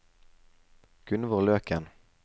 Gunvor Løken